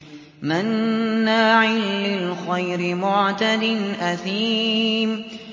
مَّنَّاعٍ لِّلْخَيْرِ مُعْتَدٍ أَثِيمٍ